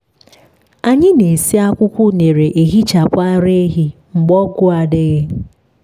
anyị na-esi akwụkwọ unere ehichapụ ara ehi mgbe ọgwụ adịghị.